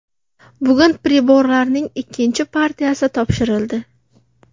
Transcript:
Bugun priborlarning ikkinchi partiyasi topshirildi.